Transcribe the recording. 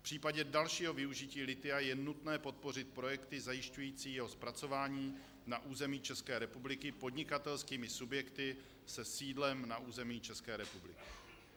V případě dalšího využití lithia je nutné podpořit projekty zajišťující jeho zpracování na území České republiky podnikatelskými subjekty se sídlem na území České republiky."